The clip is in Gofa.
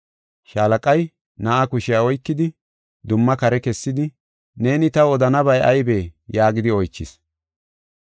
Shaalaqay na7aa kushiya oykidi, dumma kare kessidi, “Neeni taw odanabay aybee?” yaagidi oychis.